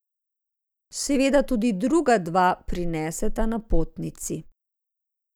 Seveda tudi druga dva prineseta napotnici.